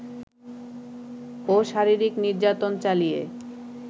ও শারীরিক নির্যাতন চালিয়ে